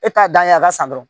E t'a dan ye a ka san dɔrɔn